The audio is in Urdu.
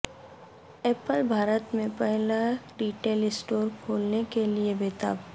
ایپل بھارت میں پہلا ریٹیل اسٹور کھولنے کے لیے بے تاب